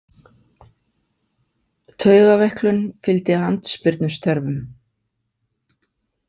Taugaveiklun fylgdi andspyrnustörfum.